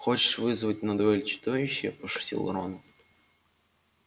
хочешь вызвать на дуэль чудовище пошутил рон